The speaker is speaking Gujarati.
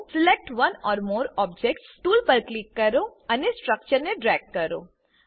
select one or more objects tool પર ક્લિક કરો ને સ્ટ્રક્ચર ને ડ્રેગ કરો